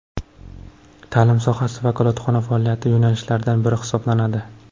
Ta’lim sohasi vakolatxona faoliyati yo‘nalishlaridan biri hisoblanadi.